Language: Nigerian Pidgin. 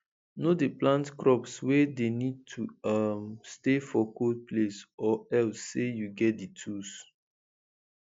no dey plant crops wey dey need to um stay for cold place or else say you get di tools